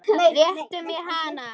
Réttu mér hana